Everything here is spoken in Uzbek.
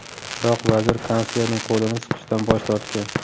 Biroq vazir kanslerning qo‘lini siqishdan bosh tortgan.